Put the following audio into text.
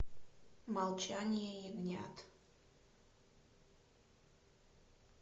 молчание ягнят